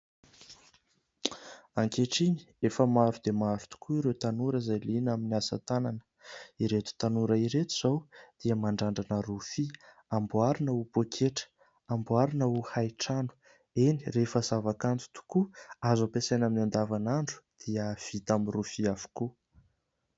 Ankehitriny, efa maro dia maro tokoa ireo tanora izay liana amin'ny asa tanana. Ireto tanora ireto izao, dia mandrandrana rofia : amboarina ho poketra, amboarina ho haitrano. Eny, rehefa zavakanto tokoa, azo ampiasaina amin'ny andavan'andro dia vita amin'ny rofia avokoa.